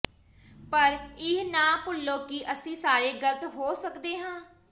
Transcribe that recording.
ਪਰ ਇਹ ਨਾ ਭੁੱਲੋ ਕਿ ਅਸੀਂ ਸਾਰੇ ਗਲਤ ਹੋ ਸਕਦੇ ਹਾਂ